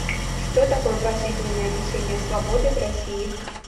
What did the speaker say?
что такое пожизненное лишение свободы в россии